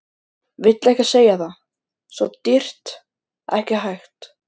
Vill ekki segja það, svo dýrt, ekki hægt.